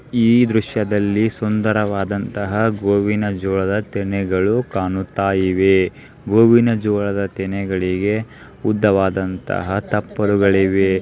ಈ ದೃಶ್ಯದಲ್ಲಿ ಸುಂದರವಾದದಂತಹ ಗೋವಿನ ಜೋಳದ ತೆನೆಗಳು ಕಣ್ಣುತ ಇವೆ ಗೋವಿನ ಜೋಳದ ತೆನೆಗಳಿಗೆ ಉದ್ದವಾದ ತಪ್ಪರುಗಳಿವೆ.